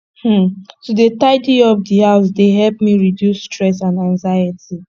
um to dey tidy up di house dey help me reduce stress and anxiety